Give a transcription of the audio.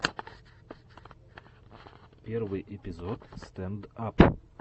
первый эпизод стэнд ап